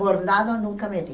Bordado nunca me dei.